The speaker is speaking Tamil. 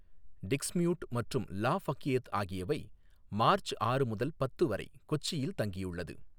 டிக்ஸ்மியூட் மற்றும் லா பஃயேத் ஆகியவை மார்ச் ஆறு முதல் பத்து வரை கொச்சியில் தங்கியுள்ளது.